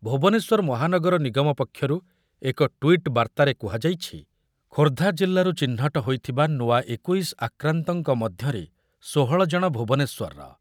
ଭୁବନେଶ୍ୱର ମହାନଗର ନିଗମ ପକ୍ଷରୁ ଏକ ଟ୍ୱିଟ୍ ବାର୍ତ୍ତାରେ କୁହାଯାଇଛି, ଖୋର୍ଦ୍ଧା ଜିଲ୍ଲାରୁ ଚିହ୍ନଟ ହୋଇଥିବା ନୂଆ ଏକୋଇଶ ଆକ୍ରାନ୍ତଙ୍କ ମଧ୍ୟରେ ଷୋହଳ ଜଣ ଭୁବନେଶ୍ୱରର ।